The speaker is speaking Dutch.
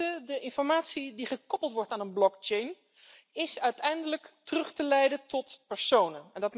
Ten eerste de informatie die gekoppeld wordt aan een blockchain, is uiteindelijk terug te leiden tot personen.